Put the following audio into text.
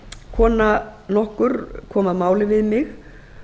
kona nokkur kom að máli við mig